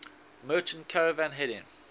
merchant caravan heading